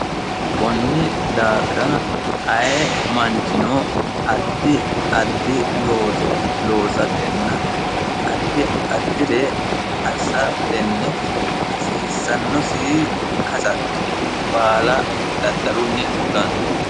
kunni daafira aye manchino addi addi looso loosa tenna atti addire assatenni hasiissannosi hasatto baala daddalunni fulanno